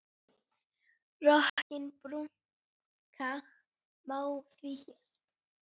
Rokkinn brúka má því hér.